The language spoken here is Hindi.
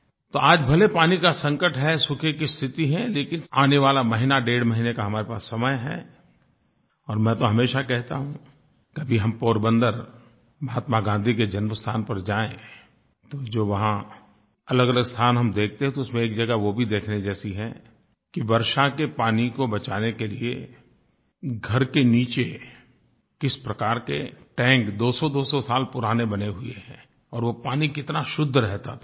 तो आज भले पानी का संकट है सूखे की स्थिति है लेकिन आने वाला महीना डेढ़ महीने का हमारे पास समय है और मैं तो हमेशा कहता हूँ कभी हम पोरबंदर महात्मा गाँधी के जन्मस्थान पर जाएँ तो जो वहाँ अलगअलग स्थान हम देखते हैं तो उसमें एक जगह वो भी देखने जैसी है कि वर्षा के पानी को बचाने के लिए घर के नीचे किस प्रकार के टैंक दो सौदो सौ साल पुराने बने हुए हैं और वो पानी कितना शुद्ध रहता था